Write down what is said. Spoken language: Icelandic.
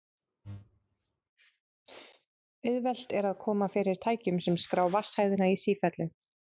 Auðvelt er að koma fyrir tækjum sem skrá vatnshæðina í sífellu.